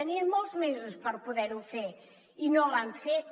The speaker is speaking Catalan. tenien molts mesos per poder ho fer i no l’han fet